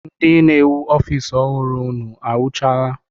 Ndị na-ewu ofiisi ọhụrụ unu ewuchaala?